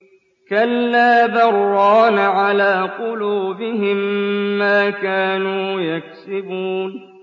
كَلَّا ۖ بَلْ ۜ رَانَ عَلَىٰ قُلُوبِهِم مَّا كَانُوا يَكْسِبُونَ